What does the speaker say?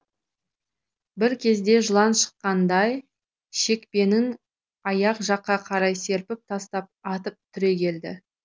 бір кезде жылан шаққандай шекпенін аяқ жаққа қарай серпіп тастап атып түрегелді